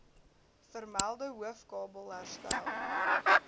vermelde hoofkabel herstel